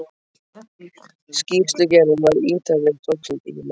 Skýrslugerðin var ítarleg og tók sinn tíma.